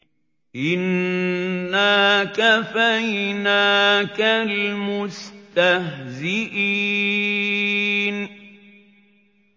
إِنَّا كَفَيْنَاكَ الْمُسْتَهْزِئِينَ